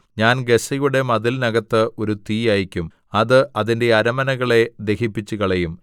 ഞാൻ ഗസ്സയുടെ മതിലിനകത്ത് ഒരു തീ അയയ്ക്കും അത് അതിന്റെ അരമനകളെ ദഹിപ്പിച്ചുകളയും